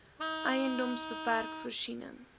edms bpk voorsien